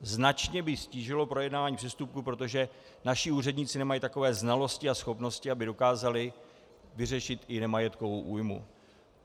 Značně by ztížilo projednávání přestupků, protože naši úředníci nemají takové znalosti a schopnosti, aby dokázali vyřešit i nemajetkovou újmu.